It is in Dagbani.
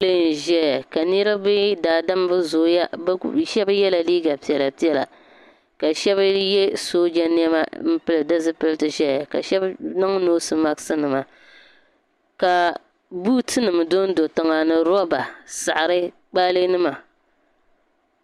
So n ʒɛya ka niriba daadam bi zooya shɛba yɛla liiga piɛla piɛla ka shɛba yɛ sooja niɛma n pili di zipiliti ʒɛya ka shɛba niŋ noosi maksi nima ka buuti nima do n do tiŋa ni rɔba saɣiri kpaalɛ nima.